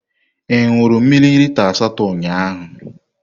Ị ṅụrụ mmiri lita asatọ ụnyahụ?